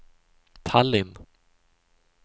Tallinn